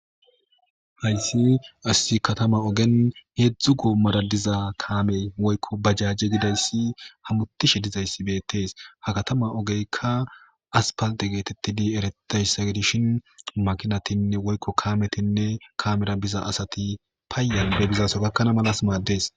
hayssi as katama ogen heedzdzu goommara diza kaamey woykko bajajje gidayssi hamutishe dizayssi beettees ha katama ogeykka aspalte geetetti di eretayssa gidishin makinatinne woykko kaametinne kamera biza asati payan be bizaso gakkana malas maaddees